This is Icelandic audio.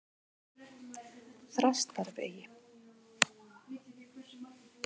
Þrastarvegi